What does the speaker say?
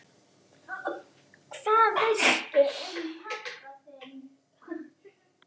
Hvað veistu um pabba þinn?